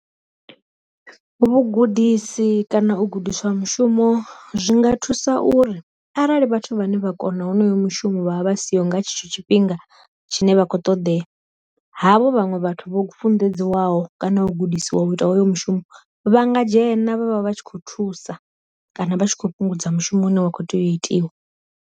Vhu gudisi kana u gudiswa mushumo zwinga thusa uri arali vhathu vhane vha kona honoyo mushumo vha vha vha siho nga tshetsho tshifhinga tshine vha khou ṱoḓeya, havho vhaṅwe vhathu vho funḓedziwa naho kana u gudisiwa u ita hoyo mishumo, vha nga dzhena vhavha vhatshi kho thusa, kana vha tshi kho fhungudza mushumo une wa kho tea u itiwa